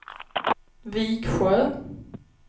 Viksjö